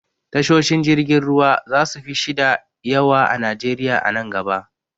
Tashoshin jirgin ruwa zasu fi shida yawa a najeriya a nan gaba.